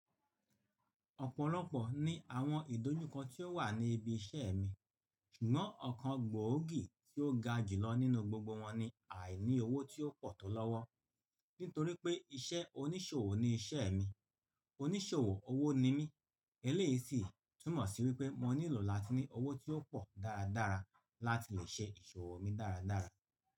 Ọ̀pọ̀lọpọ̀ ní àwọn ìdójúkọ tí ó wà ní ibi iṣẹ́ mi, ṣùgbọ́n ọ̀kan gbòógì tí ó ga jù lọ nínú gbogbo wọn ni àìní owó tí ó pọ̀ tó lọ́wọ́. Nítorí pé iṣẹ́ oníṣòwò ni iṣẹ́ mi, oníṣòwò owó ni mí, eléyìí sì túmọ̀ sí wípé mo nílò láti ní owó tí ó pọ̀ dáradára láti lè ṣe ìṣòwò mi dáradára.